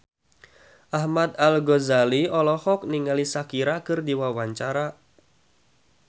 Ahmad Al-Ghazali olohok ningali Shakira keur diwawancara